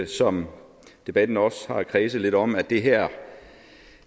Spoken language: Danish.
som debatten også har kredset lidt om at det her